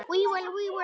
Nýbýli var reist.